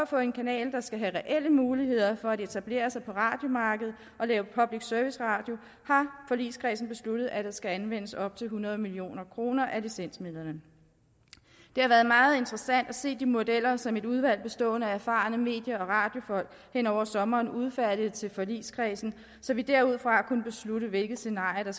få en kanal der skal have reelle muligheder for at etablere sig på radiomarkedet og lave public service radio har forligskredsen besluttet at der skal anvendes op til hundrede million kroner af licensmidlerne det har været meget interessant at se de modeller som et udvalg bestående af erfarne medie og radiofolk hen over sommeren har udfærdiget til forligskredsen så vi derudfra kunne beslutte hvilke scenarier der